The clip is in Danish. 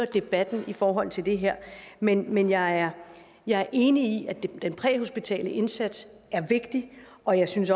i debatten i forhold til det her men men jeg er jeg er enig i at den præhospitale indsats er vigtig og jeg synes